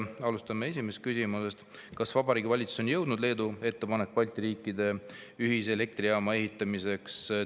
Alustame esimesest küsimusest: "Kas Vabariigi Valitsuseni on jõudnud Leedu ettepanek Balti riikide ühise elektrijaama ehitamiseks?